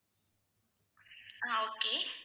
ஆஹ் okay